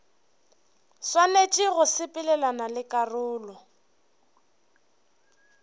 swanetše go sepelelana le karolo